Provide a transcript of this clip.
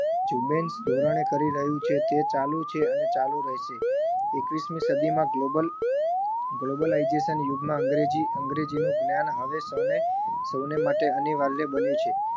ઝુમ્બેશ ધોરણે કરી રહ્યું છે તે ચાલુ છે અને ચાલુ રહેશે. એકવીસમી સદીમાં global globalization યુગમાં અંગ્રેજી અંગ્રેજીનું જ્ઞાન હવે સૌને સૌને માટે અનિવાર્ય બન્યું છે.